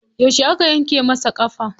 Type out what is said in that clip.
Yauce aka yanke masa ƙafa?